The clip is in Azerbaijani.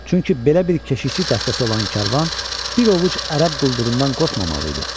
Çünki belə bir keşiyçi dəstəsi olan karvan bir ovuc ərəb quldurundan qorxmamalı idi.